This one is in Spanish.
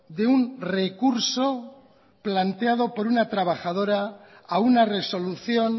de un recurso planteado por una trabajadora a una resolución